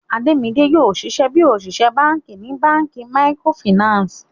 Ademide yoo ṣiṣẹ bi oṣiṣẹ banki ni banki micro Finance.